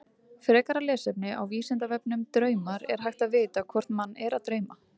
Frekara lesefni á Vísindavefnum Draumar Er hægt að vita hvort mann er að dreyma?